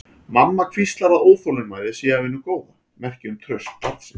Mamma hvíslar að óþolinmæðin sé af hinu góða, merki um traust barnsins.